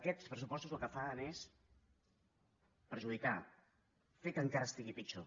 aquests pressupostos el que fan és perjudicar fer que encara estigui pitjor